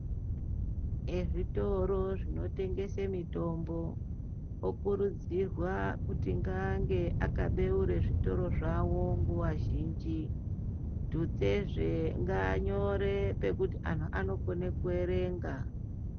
Ezvitoro zvinotengesa mitombo okuridzirwa kuti ange akabeura zvitoro zvawo nguwa zhinji svute zve nganyore kuti anhu anokona kuerenga.